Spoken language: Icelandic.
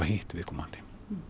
hitta viðkomandi